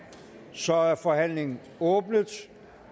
så er forhandlingen er åbnet